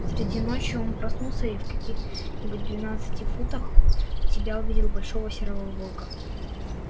среди ночи он проснулся и в каких нибудь двенадцати футах от себя увидел большого серого волка